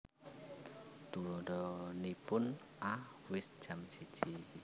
Tuladhanipun A Wis jam siji